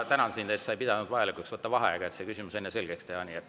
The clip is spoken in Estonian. Ma tänan sind, et sa ei pidanud vajalikuks võtta vaheaega, et see küsimus enne selgeks teha.